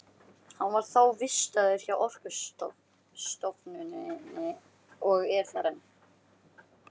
Hann var þá vistaður hjá Orkustofnun og er þar enn.